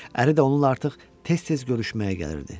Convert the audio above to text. Əri də onunla artıq tez-tez görüşməyə gəlirdi.